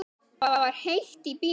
Það var heitt í bíóinu.